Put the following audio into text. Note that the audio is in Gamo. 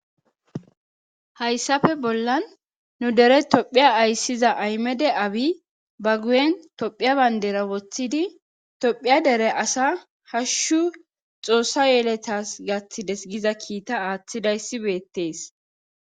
Hayssafe bollan nu dere tophiya ayssiza aymede abi ba guyen tophiya bandera woththidi tophiya dere asa hashshu xoossa yeletas gaththides giza kiita aaththidayssi beettees